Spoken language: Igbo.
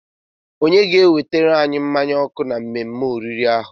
Onye ga-ewetara anyi mmanya ọkụ na mmemme oriri ahụ?